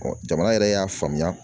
jamana yɛrɛ y'a faamuya